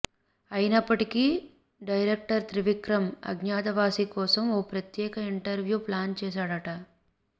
అయినప్పటికీ డైరెక్టర్ త్రివిక్రమ్ అజ్ఞాతవాసి కోసం ఓ ప్రత్యేక ఇంటర్వ్యూ ప్లాన్ చేసాడట